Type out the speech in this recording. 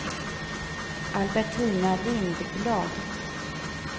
Albertina Lindblad